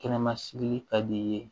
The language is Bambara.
Kɛnɛma sigi ka d'i ye